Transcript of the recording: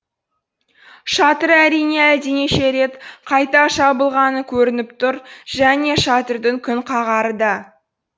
шатыры әрине әлденеше рет қайта жабылғаны көрініп тұр және шатырдың күнқағары да